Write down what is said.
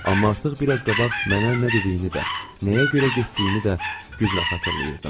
Amma artıq biraz qabaq mənə nə dediyini də, nəyə görə getdiyimi də güclə xatırlayırdım.